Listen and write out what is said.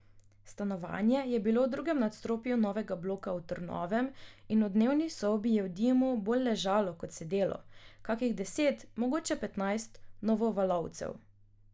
Stanovanje je bilo v drugem nadstropju novega bloka v Trnovem in v dnevni sobi je v dimu bolj ležalo kot sedelo kakih deset, mogoče petnajst novovalovcev.